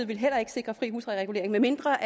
ville heller ikke sikre fri huslejeregulering medmindre